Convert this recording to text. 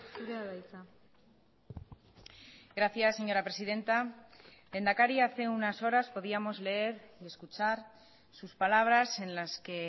zurea da hitza gracias señora presidenta lehendakari hace unas horas podíamos leer y escuchar sus palabras en las que